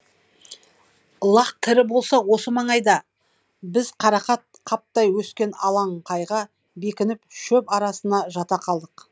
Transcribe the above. лақ тірі болса осы маңайда біз қарақат қаптай өскен алаңқайға бекініп шөп арасына жата қалдық